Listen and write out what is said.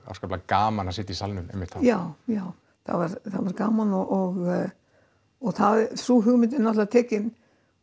óskaplega gaman að sitja í salnum einmitt þá já já það var gaman og sú hugmynd er náttúrulega tekin